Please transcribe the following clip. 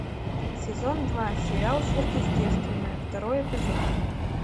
сезон два сериал сверхъестественное второй эпизод